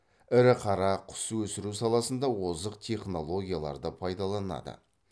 ірі қара құс өсіру саласында озық технологияларды пайдаланады